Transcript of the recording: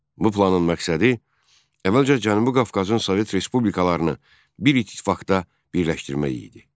Bu planın məqsədi əvvəlcə Cənubi Qafqazın Sovet respublikalarını bir ittifaqda birləşdirmək idi.